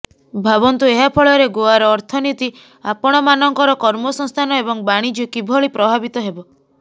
ଭାବନ୍ତୁ ଏହା ଫଳରେ ଗୋଆର ଅର୍ଥନୀତି ଆପଣମାନଙ୍କର କର୍ମସଂସ୍ଥାନ ଏବଂ ବାଣିଜ୍ୟ କିଭଳି ପ୍ରଭାବିତ ହେବ